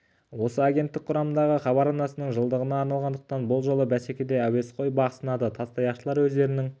осы агенттік құрамындағы хабар арнасының жылдығына арналғандықтан бұл жолғы бәсекеде әуесқой бақ сынады тастаяқшылар өздерінің